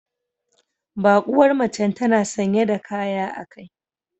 Bakuwar macen tana sanye da kaya a kai